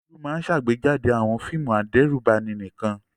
Olú máa ń ṣàgbéjáde àwọn fíìmù adẹ́rùbani nìkan.